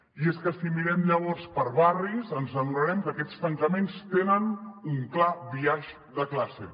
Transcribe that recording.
i és que si mirem llavors per barris ens adonarem que aquests tancaments tenen un clar biaix de classe